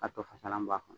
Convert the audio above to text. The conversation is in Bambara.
Ka to fasalan bɔ a kɔnɔ